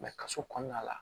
kaso kɔnɔna la